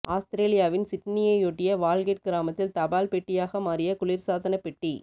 ஆஸ்திரேலியாவின் சிட்னியையொட்டிய வால்கெட் கிராமத்தில் தபால் பெட்டியாக மாறிய குளிர் சாதனப்பெட்டி